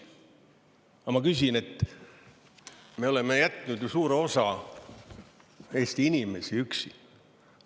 Aga ma küsin, et me oleme jätnud ju suure osa Eesti inimesi üksi.